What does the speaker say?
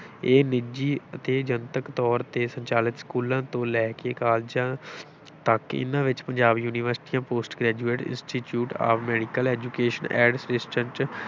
ਇਹ ਨਿੱਜੀ ਅਤੇ ਜਨਤਕ ਤੌਰ ਤੇ ਸੰਚਾਲਿਤ ਸਕੂਲਾਂ ਤੋਂ ਲੈ ਕੇ ਕਾਲਜਾਂ ਤੱਕ ਹਨ, ਇਨ੍ਹਾਂ ਵਿੱਚ ਪੰਜਾਬ ਯੂਨੀਵਰਸਿਟੀਆਂ post graduate institute of medical education and research